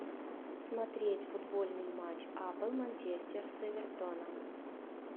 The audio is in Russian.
смотреть футбольный матч апл манчестер с эвертоном